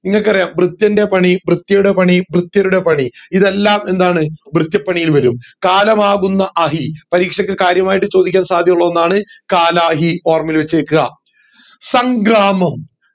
ഇങ്ങക്ക് അറിയാം വൃത്യൻറെ പണി വിത്യയുടെ പണി വൃത്യരുടെ പണി ഇതെല്ലം എന്താണ് വിത്യപണിയിൽ വരും കാലമാകുന്ന അതി പരീക്ഷയ്ക്ക് കാര്യമായി ചോദിക്കാൻ സാധ്യത ഉള്ള ഒന്നാണ് കാലാഹി ഓർമയിൽ വെച്ചേക്ക്‌ആ സംഗ്രാമം